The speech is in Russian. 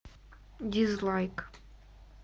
дизлайк